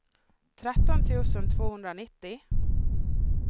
tretton tusen tvåhundranittio